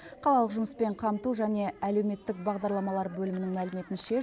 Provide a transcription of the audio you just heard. қалалық жұмыспен қамту және әлеуметтік бағдарламалар бөлімінің мәліметінше